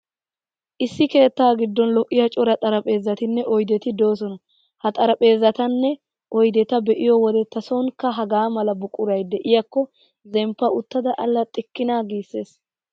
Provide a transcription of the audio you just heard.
Issi keettaa giddon lo'iyaa cora xariphpheezzatinne oydeti de'oosona. Ha xaraphpheezzatanne oydeta be'iyo wode tasoonikka hagaa mala buquray de'iyaakko zemppa uttada allaxxikkina giissees.